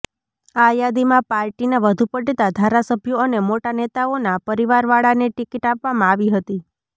આ યાદીમાં પાર્ટીના વધુ પડતા ધારાસભ્યો અને મોટા નેતાઓના પરિવારવાળાને ટિકીટ આપવામાં આવી હતી